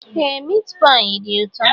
Ee miit paayi dị ụtọ